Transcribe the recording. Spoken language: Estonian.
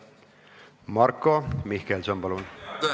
Marko Mihkelson, palun!